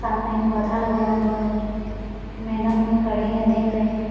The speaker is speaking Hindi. सामने एक पौधा लगाया हुआ है। मैडम भी खड़ी हैं देख रही हैं।